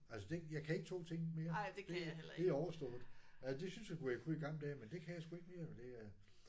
Altså det jeg kan ikke 2 ting mere. Det det er overstået. Ja det synes jeg nu jeg kunne i gamle dage men det kan sgu jeg ikke mere men det er